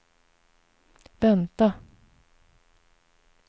vänta